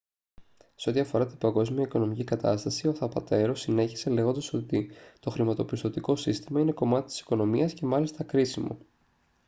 σε ό,τι αφορά την παγκόσμια οικονομική κατάσταση ο θαπατέρο συνέχισε λέγοντας ότι «το χρηματοπιστωτικό σύστημα είναι κομμάτι της οικονομίας και μάλιστα κρίσιμο